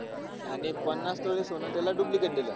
आणि पन्नास तोळे सोनं त्याला duplicate दिलं.